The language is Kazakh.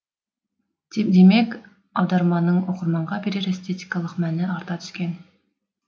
демек аударманың оқырманға берер эстетикалық мәні арта түскен